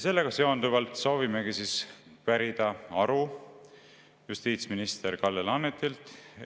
Sellega seonduvalt soovimegi pärida aru justiitsminister Kalle Laanetilt.